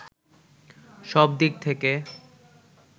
সব দিক থেকে